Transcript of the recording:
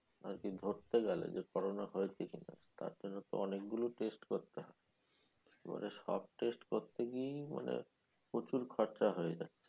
আর কি ধরতে গেলে যে corona হয়েছে কিনা তার জন্য অনেকগুলো test করতে হয় পরে সব test করতে গিয়ে মানে প্রচুর খরচা হয়ে যায়